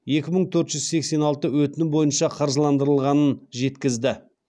екі мың төрт жүз сексен алты өтінім бойынша қаржыландырылғанын жеткізді